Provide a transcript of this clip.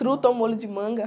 Truta ao molho de manga.